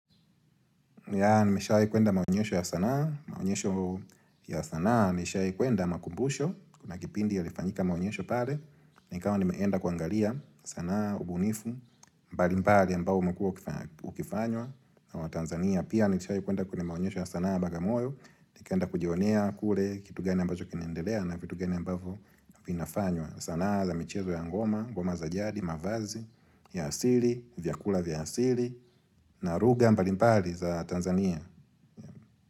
Yah nimeshawai kuenda maonyesho ya sanaa Maonyesho ya sanaa nimeshawai kuenda makumbusho Kuna kipindi ya lifanyika maunyosho pale nikawa nimeenda kuangalia sanaa, ubunifu, mbali mbali ambao ukua ukifanywa na wa Tanzania pia nimeshawai kuenda kwenye maunyesho ya sanaa bagamoyo Nikienda kujionea kule kitu gani ambacho kinaendelea na vitu gani ambavyo vinafanywa sanaa za michezo ya ngoma, ngoma za jadi, mavazi, ya asili, vyakula vya asili na lugha mbalimbali za Tanzania.